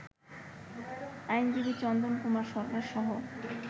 আইনজীবী চন্দন কুমার সরকারসহ